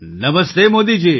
Namaste Modiji